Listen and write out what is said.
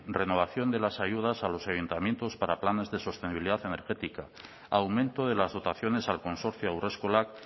renovación de las ayudas a los ayuntamientos para planes de sostenibilidad energética aumento de las dotaciones al consorcio haurreskolak